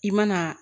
I mana